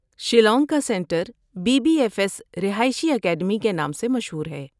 شیلانگ کا centre B B F S رہائشی academy کے نام سے مشہور ہے۔